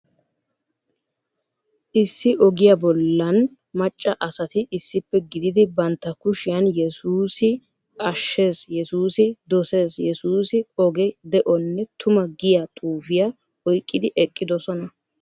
Issi ogiya bollan macca asati issippe gididi bantta kushiyan yessuussi ashees, yessuussi dosees, yessuussi oge, de'onne tuma giya xuufiya oyqqidi eqqiddossona.